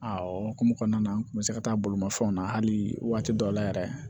A o hokumu kɔnɔna na n kun bɛ se ka taa bolimafɛnw na hali waati dɔw la yɛrɛ